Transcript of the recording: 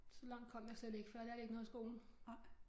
Så langt kom jeg slet ikke for jeg lærte ikke noget i skolen